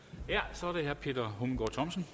så er det herre peter hummelgaard thomsen